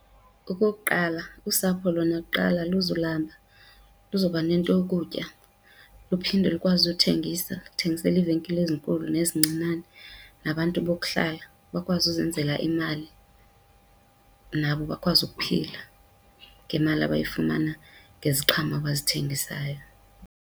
Okokuqala, usapho lona kuqala aluzulamba, luza kuba nento yokutya. Luphinde lukwazi uthengisa luthengisele iivenkile ezinkulu nezincinane nabantu bokuhlala, bakwazi uzenzela imali, nabo bakwazi ukuphila ngemali abayifumana ngeziqhamo abazithengisayo.